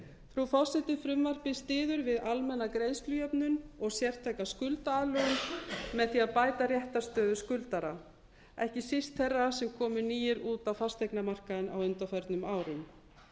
frú forseti frumvarpið styður við almenna greiðslujöfnun og sérstaka greiðsluaðlögun með því að bæta réttarstöðu skuldara ekki síst þeirra sem komu nýir út á fasteignamarkaðinn á undanförnum árum